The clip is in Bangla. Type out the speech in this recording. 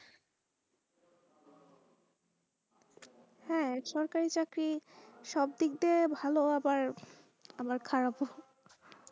হা সরকারি চাকরি সব দিক দিয়ে ভালো আবার খারাপ ও।